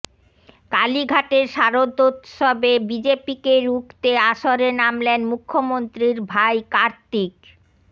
কালীঘাটের শারদোৎসবে বিজেপিকে রুখতে আসরে নামলেন মুখ্যমন্ত্রীর ভাই কার্তিক